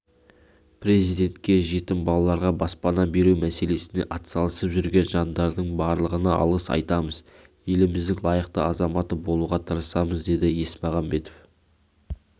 президентке жетім балаларға баспана беру мәселесіне атсалысып жүрген жандардың барлығына алғыс айтамыз еліміздің лайықты азаматы болуға тырысамыз деді есмағамбетов